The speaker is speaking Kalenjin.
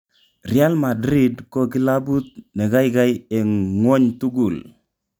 "Real Madrid ko kilabut nekaikai eng ngwony tugul..